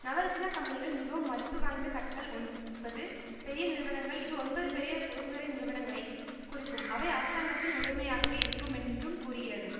நவரத்தினா கம்பெனிகள் மிகவும் மதிப்பு வாய்ந்த கட்கள் ஒன்பது பெய நிறுவனங்கள் இது ஒன்பது பெரிய பொது துறை நிறுவனங்களைக் குறிக்கும்அவை அரசாங்கத்தின் உடைமையாகவே இருக்கும் என்றும் கூறுகிறது